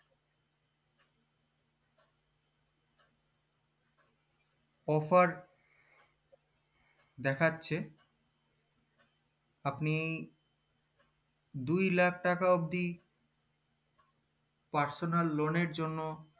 offer দেখাচ্ছে আপনি দুই লাখ টাকা অবদি personal loan এর জন্য